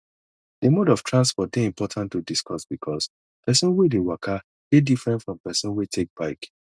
the mode of transport dey important to discuss because person wey dey waka dey different from person wey take bike